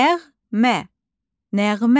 Nəğmə, nəğmə.